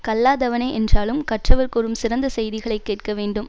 கல்லாதவனே என்றாலும் கற்றவர் கூறும் சிறந்த செய்திகளைக் கேட்க வேண்டும்